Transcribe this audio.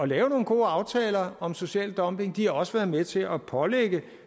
lave nogle gode aftaler om social dumping og de har også været med til at pålægge